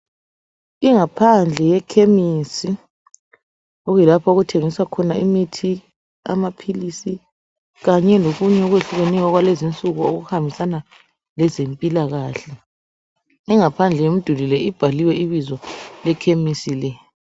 Ingaphandle yekhemisi okuyi lapha okuthengiswa imithi, amaphilisi kanye lokunye okwehlukeneyo okwalezinsuku okuhambisana lezempilakahle. Ingaphandle yomduli le ibhaliwe ibizo lekhesimi le.